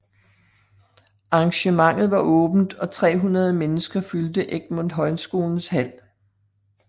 Arrangementet var åbent og 300 mennesker fyldte Egmont Højskolens hal